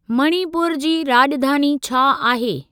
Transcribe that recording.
मणिपुर जी राॼधानी छा आहे?